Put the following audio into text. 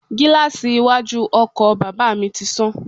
Gíláàsì iwájú ọkọ̀ bàbà mi ti sán.